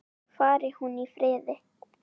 Fari hún í friði.